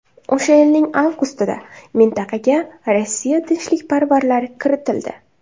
O‘sha yilning avgustida mintaqaga Rossiya tinchlikparvarlari kiritildi.